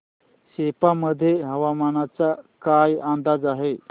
सेप्पा मध्ये हवामानाचा काय अंदाज आहे